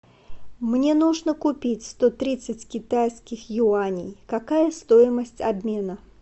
мне нужно купить сто тридцать китайских юаней какая стоимость обмена